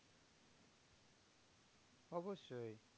অবশ্যই